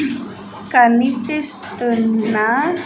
కనిపిస్తున్న.